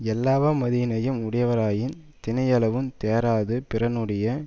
எல்லாவமைதியினையும் உடையவராயினும் தினையளவுந் தேராது பிறனுடைய